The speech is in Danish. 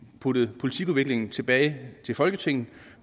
puttet politikudviklingen tilbage til folketinget